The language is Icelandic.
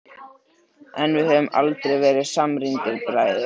En við höfum aldrei verið samrýndir bræður.